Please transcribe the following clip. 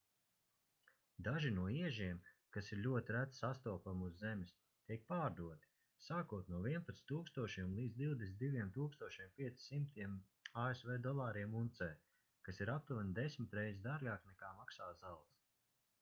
daži no iežiem kas ir ļoti reti sastopami uz zemes tiek pārdoti sākot no 11 000 līdz 22 500 asv dolāriem uncē kas ir aptuveni desmit reizes dārgāk nekā maksā zelts